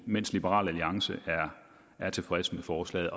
mens liberal alliance er tilfredse med forslaget